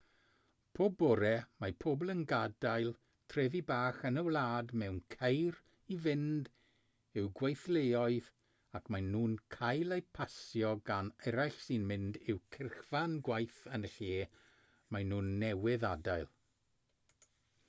pob bore mae pobl yn gadael trefi bach yn y wlad mewn ceir i fynd i'w gweithleoedd ac maen nhw'n cael eu pasio gan eraill sy'n mynd i'w cyrchfan gwaith yn y lle maen nhw newydd adael